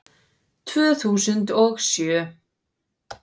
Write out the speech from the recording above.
Tvö þúsund og sjö